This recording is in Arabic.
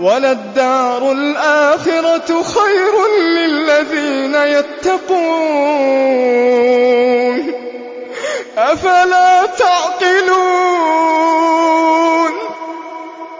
وَلَلدَّارُ الْآخِرَةُ خَيْرٌ لِّلَّذِينَ يَتَّقُونَ ۗ أَفَلَا تَعْقِلُونَ